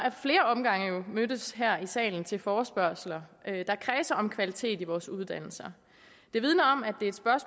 flere omgange mødtes her i salen til forespørgsler der kredser om kvalitet i vores uddannelser det vidner